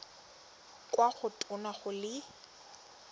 kwa go tona go le